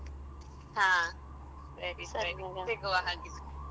ಹ ಸರಿ ಸರಿ ಸಿಗುವ ಹಾಗಾದ್ರೆ.